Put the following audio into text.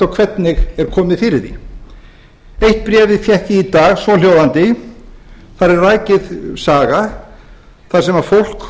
hvernig er komið fyrir því eitt bréfið fékk ég í dag svohljóðandi þar er rakin saga þar sem fólk